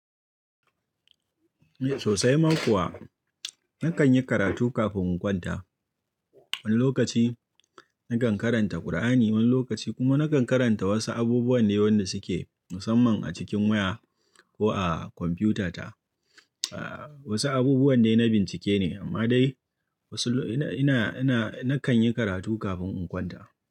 Eh sosai ma kuwa. Nakan yi karatu kafin in kwanta. Wani lokaci nakan karanta Kur'ani, wani lokaci kuma nakan karanta wasu abubuwa ne yanda suke musamman a cikin waya ko a kwamfiyuta ta. Aaa wasu abubuwa dai na bincike ne amma dai wasu ina, ina, ina, nakan yi karatu kafin in kwanta.